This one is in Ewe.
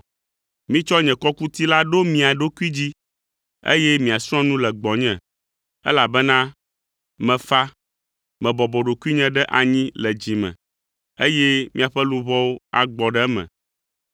Mitsɔ nye kɔkuti la ɖo mia ɖokui dzi, eye miasrɔ̃ nu le gbɔnye, elabena mefa, mebɔbɔ ɖokuinye ɖe anyi le dzi me, eye miaƒe luʋɔwo agbɔ ɖe eme,